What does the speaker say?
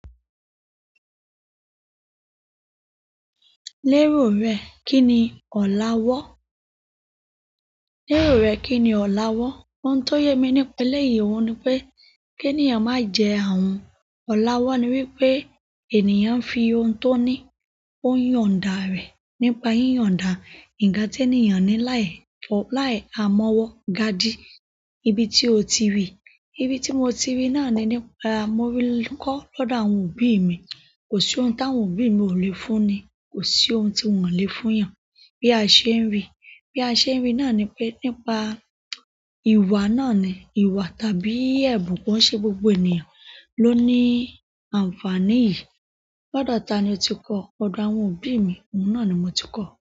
Lérò rẹ, kí ni ọ̀lá wọ́? Lérò rẹ, kí ni ọ̀lá wọ́? Ohun tó yẹ mí nípa eléyìí wọn ni pé, kí ènìyàn má jẹ́ àhun ọ̀lawọ́ ni wípé ènìyàn ń fi ohun tó ní ó yọ̀ǹda rẹ̀ nípa yíyọ̀ǹda nkan ti ènìyàn ní láì ha mọ́wọ́ gádí. Ibi tí o ti rí, ibi tí mo ti rí náà ni nípa, mo rí kọ́ lọ́dọ̀ àwọn òbí mi. Kò sí ohun tí àwọn òbí mi ò le fúnni, kò sí ohun tí wọ́n le fún yàn. Bí a ṣe ń rí, bí a ṣe ń rí náà ni pé nípa ìwà náà ni, ìwà tàbí ẹ̀bùn kọ́ ṣe gbogbo ènìyàn ló ní àǹfàní yìí. Lọ́dọ̀ ta ni o ti kọ́? Lọ́dọ̀ àwọn òbí mi, òun náà ni mo ti kọ́.